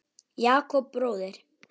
Jakob bróðir.